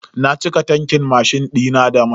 Na cike tankin mashin dina da mai.